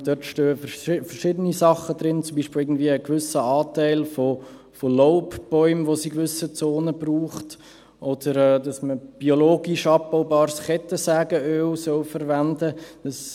Dort stehen verschiedene Sachen, zum Beispiel, dass es in gewissen Zonen einen gewissen Anteil an Laubbäumen braucht, oder dass man biologisch abbaubares Kettensägenöl verwenden soll.